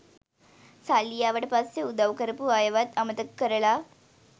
සල්ලි ආවට පස්සේ උදව් කරපු අයවත් අමතක කරලා